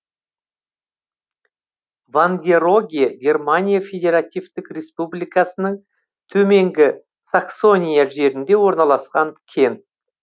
вангероге германия федеративтік республикасының төменгі саксония жерінде орналасқан кент